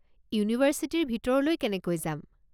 ইউনিভাৰ্ছিটিৰ ভিতৰলৈ কেনেকৈ যাম?